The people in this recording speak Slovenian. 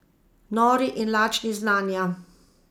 Nori in lačni znanja.